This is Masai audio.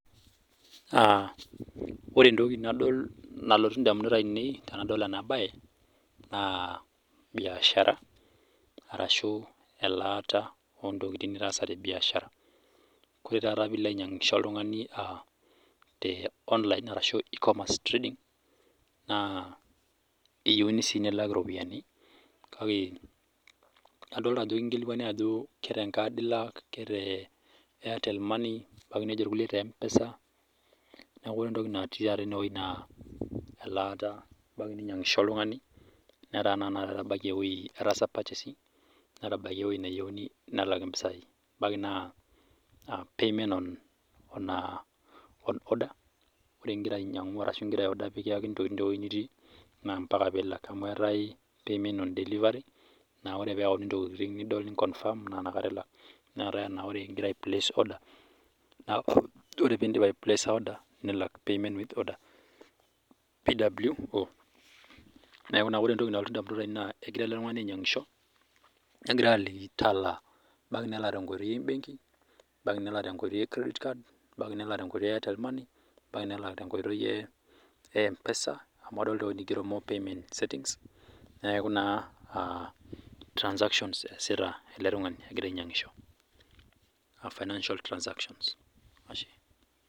Aa ore entoki nadol nalotu ndamunot aainei tenadol ena baye naa biashara ashuu elaata oontokin nitaasa te biashara ore taata piilo ainyiang'isho oltung'ani naa te online arashuu te e-commerce trading ,naa eyieuni sii nilak iropiyani kake adoolta ajo kinkilikwani aajo ketenkaad ilak, kete Airtel money nejo kulie kete e-mpesa neeku ore entoki natii taata enewueji naa elaata ebaiki ninyiang'ishe oltung'ani netaa naatenakata etabaikia ewueji netaa etaasa purchasing netabaikia ewueji nayieuni mpisai ebaiki naa payment on order ore ngira ainyang'u ntokitin arashu ngira ai order mikiyakini ntokitin tewueji nitii, naa mpaka piilak amuu etaa payment on delivery naa ore teneyauni ntokitin nidol ni confirm naa inakata ilak neetae enaa ore piindip aipleesa order nilak, payment with order pwo neeku naa ore entoki nalotu ndamunot aainei egira ele tung'ani ainyiang'isho negirai aaliki, talaa, ebaiki naa tenkoitoi e benki, ebaiki nelak tenkoitoi e credit card, ebaiki nelak tenkoitoi e Airtel money ebaiki nelak tenkoitoi e e-mpesa amuu adol ajo igero tendewueji more payment settings neeku naa transaction eesita ele tung'ani egira ainyiang'isho, ee financial transaction .Ashe.